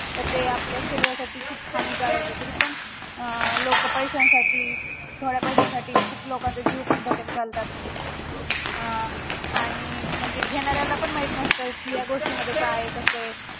तर ते आपल्या शरीरासाठी हानिकारक तरी पण अं लोक पैस्यांसाठी थोड्या पैश्यांसाठी खूप लोकांचा जीव धोक्यात घालतात अं आणि म्हणजे घेणाऱ्याला पण माहित नसत कि या गोष्टी मध्ये काय ये कसा ये